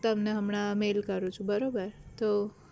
તમને હમણાં mail કરું છું બરોબર તો